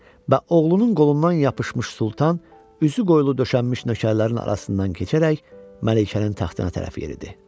Və oğlunun qolundan yapışmış Sultan üzü qoylu döşənmiş nökərlərin arasından keçərək Məlikənin taxtına tərəf yeridi.